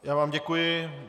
Já vám děkuji.